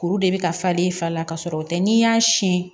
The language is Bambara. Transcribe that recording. Kuru de bɛ ka falen fa la ka sɔrɔ o tɛ n'i y'a siyɛn